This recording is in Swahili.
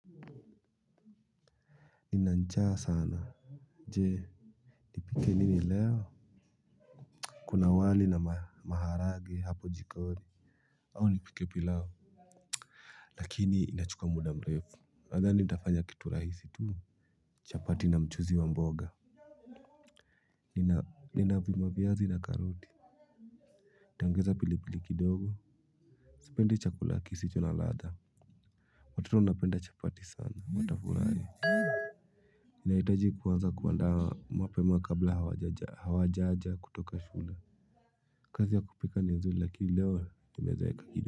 Nina njaa sana. Je, nipike nini leo. Kuna wali na maharagwe hapo jikoni au nipike pilau. Lakini inachukua muda mrefu. Nadhani nitafanya kitu rahisi tu. Chapati na mchuzi wa mboga. Nina vima viazi na karoti. Tengeza pili pili kidogo. Sipendi chakula kisicho na ladha. Watoto wanapenda chapati sana watafurahi nahitaji kuanza kuandaa mapema kabla hawajaja kutoka shule. Kazi ya kupika ni nzuri lakini leo nimeeza.